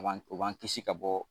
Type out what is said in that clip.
O b'an kisi ka bɔ.